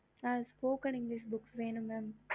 mam spoken english book வேணும் mam